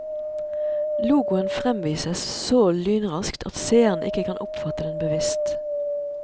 Logoen fremvises så lynraskt at seerne ikke kan oppfatte den bevisst.